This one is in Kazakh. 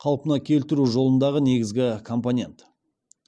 қалпына келтіру жолындағы негізгі компонент